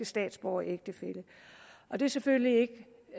statsborger og det er selvfølgelig